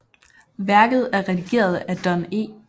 Værket er redigeret af Don E